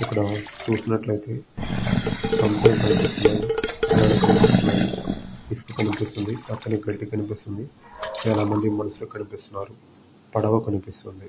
ఇక్కడ చూసినట్లైతే సముద్రం కనిపిస్తున్నాయి అలలు కనిపిస్తున్నాయి ఇసక కనిపిస్తుంది పచ్చని గడ్డి కనిపిస్తుంది చాలా మంది మనుషులు కనిపిస్తున్నారు పడవ కనిపిస్తుంది.